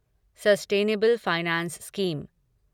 sustainable finance scheme